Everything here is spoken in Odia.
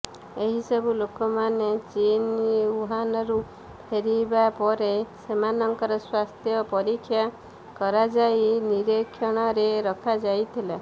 ଏହି ସବୁ ଲୋକମାନେ ଚୀନ ଉହାନରୁ ଫେରିବା ପରେ ସେମାନଙ୍କର ସ୍ୱାସ୍ଥ୍ୟ ପରୀକ୍ଷା କରାଯାଇ ନୀରିକ୍ଷଣରେ ରଖାଯାଇଥିଲା